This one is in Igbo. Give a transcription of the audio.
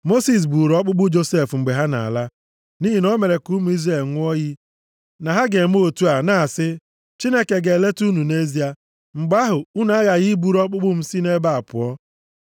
Mosis buuru ọkpụkpụ Josef mgbe ha na-ala. Nʼihi na o mere ka ụmụ Izrel ṅụọ iyi na ha ga-eme otu a, na-asị, “Chineke ga-eleta unu nʼezie, mgbe ahụ, unu aghaghị iburu ọkpụkpụ m si nʼebe a pụọ.”